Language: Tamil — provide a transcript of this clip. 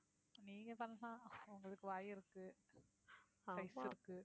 நீங்க பண்ணலாம் உங்களுக்கு வாய் இருக்கு size இருக்கு.